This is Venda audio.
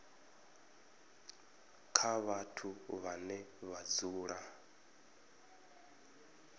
kha vhathu vhane vha dzula